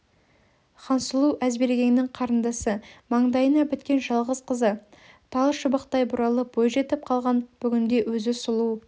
хансұлу әзбергеннің қарындасы маңдайына біткен жалғыз қызы тал шыбықтай бұралып бойжетіп қалған бүгінде өзі сұлу